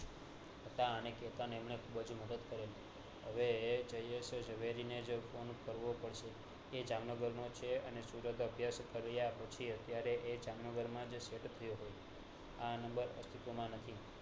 કેતન એમને ખુબજ મદદ કર્યો એ જામનગરનો છે અને સુરત અભ્યાસ કર્યા પછી અત્યારે એ જામનગર માજ set થયી ગયો